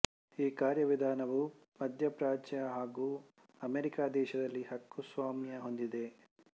ಈ ಕಾರ್ಯವಿಧಾನವು ಮಧ್ಯಪ್ರಾಚ್ಯ ಹಾಗೂ ಅಮೆರಿಕಾ ದೇಶದಲ್ಲಿ ಹಕ್ಕುಸ್ವಾಮ್ಯ ಹೊಂದಿದೆ